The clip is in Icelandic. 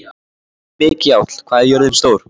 Mikjáll, hvað er jörðin stór?